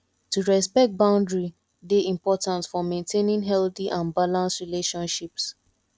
to respect boundary dey important for maintaining healthy and balanced relationships